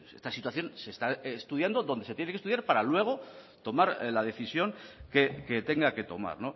esta situación se está estudiando donde se tiene que estudiar para luego tomar la decisión que tenga que tomar